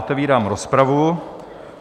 Otevírám rozpravu.